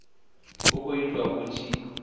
hu khou itiwa hu tshi